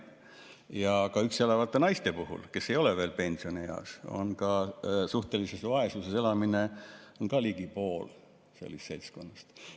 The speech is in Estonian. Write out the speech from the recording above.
Ja ka üksi elavatest naistest, kes ei ole veel pensionieas, elab suhtelises vaesuses ka ligi pool sellest seltskonnast.